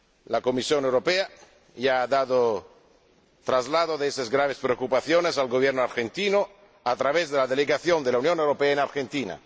La Comisión Europea ya ha dado traslado de esas graves preocupaciones al Gobierno argentino a través de la Delegación de la Unión Europea en Argentina.